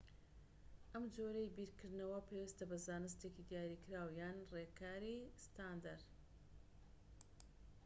ئەم جۆرەی بیرکردنەوە پەیوەستە بە زانستێکی دیاریکراو یان ڕێکاری ستاندەر